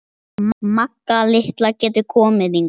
Magga litla getur komið hingað.